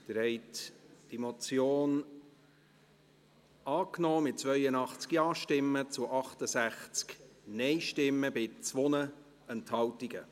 Sie haben die Motion angenommen, mit 82 Ja-Stimmen zu 68 Nein-Stimmen bei 2 Enthaltungen.